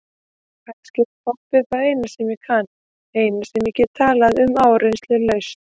Kannski er poppið það eina sem ég kann, eina sem ég get talað um áreynslulaust.